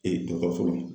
Ee dɔkɔtɔrɔso la